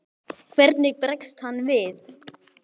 Hvernig bregst hann við?